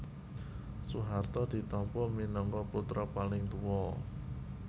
Soeharto ditampa minangka putra paling tuwa